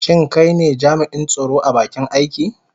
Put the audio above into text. Shin kai ne jami'in tsaro a bakin aiki?